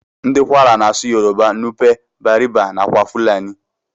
Ndi kwara na asụ yoruba, nupe, bariba nakwa fulani.